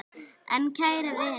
En kæri vinur.